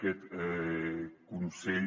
aquest consell